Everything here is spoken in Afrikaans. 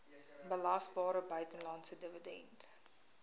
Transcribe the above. belasbare buitelandse dividend